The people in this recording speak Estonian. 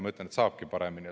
Ma ütlen, et saabki paremini.